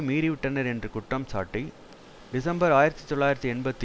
மீறிவிட்டனர் என்று குற்றம்சாட்டி டிசம்பர் ஆயிரத்தி தொள்ளாயிரத்து எண்பத்தி